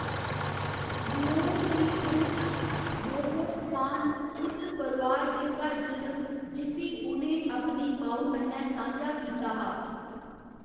Luong दी त्रीमत, Ngoc Phan, उस परोआर दे घर च न जिसी उ'नें अपनी मा'ऊ कन्नै सांझा कीता हा।